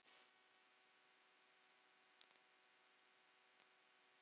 Ég var gáttuð og slegin.